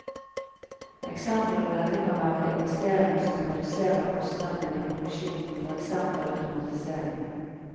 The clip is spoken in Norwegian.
Eksempler på dette kan være investeringer som reduserer kostnadene i produksjonen, for eksempel automatisering.